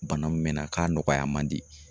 Bana min mɛ n na k'a nɔgɔya man di.